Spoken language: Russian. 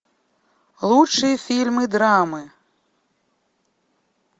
лучшие фильмы драмы